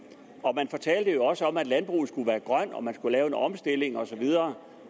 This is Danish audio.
fortalte jo også om at landbruget skulle være grønt og at man skulle lave en omstilling og så videre